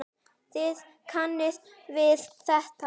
Þið kannist við þetta.